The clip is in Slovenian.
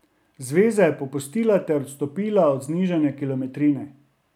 Zveza je popustila ter odstopila od znižanja kilometrine.